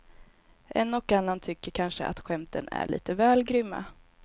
En och annan tycker kanske att skämten är lite väl grymma.